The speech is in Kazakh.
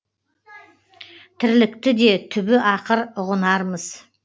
тірлікті де түбі ақыр ұғынармыз